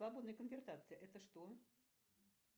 свободная конвертация это что